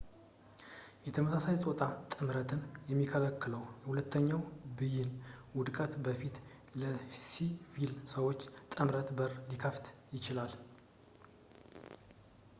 የተመሳሳይ ፆታ ጥምረትን የሚከለክለው የሁለተኛው ብይን ውድቀት ወደፊት ለሲቪል ሰዎች ጥምረት በር ሊከፍት ይችላል